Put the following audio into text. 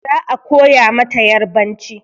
Za a koya mata yarbanci.